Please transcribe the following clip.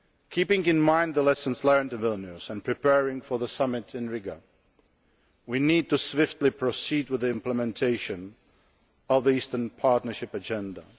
Keeping in mind the lessons learned in Vilnius, and preparing for the summit in Riga we need to swiftly proceed with the implementation of the Eastern Partnership agenda.